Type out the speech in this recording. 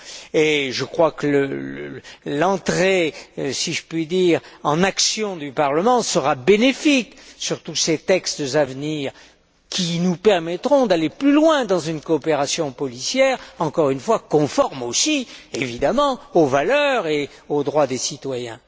Et je crois que l'entrée, si je puis dire, en action du Parlement sera bénéfique, pour tous ces textes à venir, qui nous permettront d'aller plus loin dans une coopération policière, encore une fois conforme aussi aux valeurs et aux droits des citoyens.